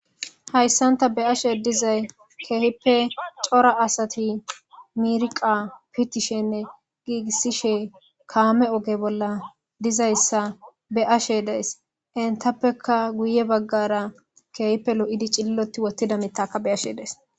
hayssan ta beashe dizay keehippe cora asati mirqa pitishenne giigissishe kaame oge bolla dizayssa be ashe dees intappeka guye baggara keehpe lo7idi cilloti wottida mittakka be ashe dees